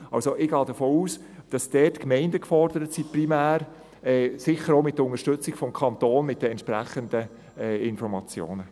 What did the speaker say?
Ich gehe davon aus, dass dort primär die Gemeinden gefordert sein werden, sicher auch mit der Unterstützung des Kantons durch die entsprechenden Informationen.